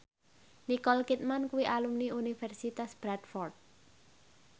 Nicole Kidman kuwi alumni Universitas Bradford